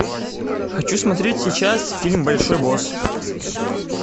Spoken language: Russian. хочу смотреть сейчас фильм большой босс